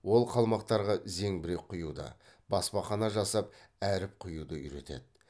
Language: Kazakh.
ол қалмақтарға зеңбірек құюды баспахана жасап әріп құюды үйретеді